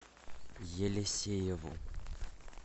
елисееву